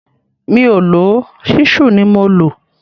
Mi ò lò ó, ṣísù ni mo lò